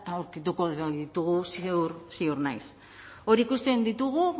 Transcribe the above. aurkituko ditugu ziur naiz hor ikusten ditugu